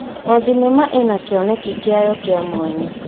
O thenema ĩna kĩoneki kĩayo kĩa mwanya.